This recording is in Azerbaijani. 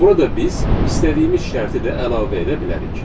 Burada biz istədiyimiz şərti də əlavə edə bilərik.